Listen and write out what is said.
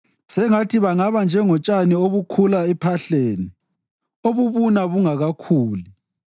Sengathi bangaba njengotshani obukhula ephahleni obubuna bungakakhuli;